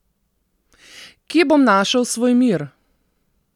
Kje bom našel svoj mir?